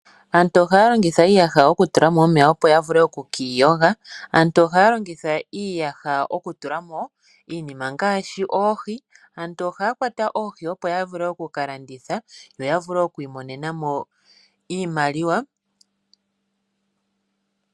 Aantu oha ya longitha iiyaha oku tula mo omeya opo ya vule oku kiiyoga. Aantu oha ya longitha iiyaha oku tulamo iinima ngaashi oohi. Aantu oha ya kwata oohi opo ya vule oku ka landitha, yo ya vule okwii monena mo iimaliwa.